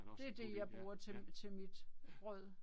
Det det jeg bruger til mit brød